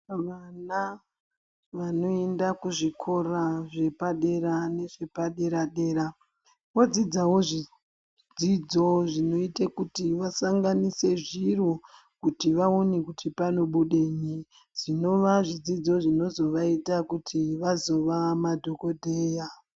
Vana, vanoenda kuzvikora zvepadera nezvepadera-dera, vodzidzawo, zvidzidzo zvinoita kuti vasanganise zviro, kuti vaone kuti panobudenyi? Zvinova zvidzidzo zvinozovaita kuti vazova madhokodheya.